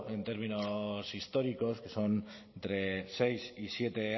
en términos históricos que son entre seis y siete